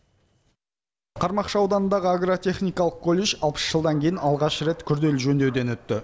қармақшы ауданындағы агро техникалық колледж алпыс жылдан кейін алғаш рет күрделі жөндеуден өтті